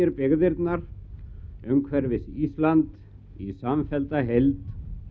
byggðirnar umhverfis Ísland í samfellda heild